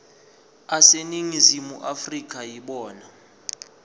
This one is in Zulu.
aseningizimu afrika yibona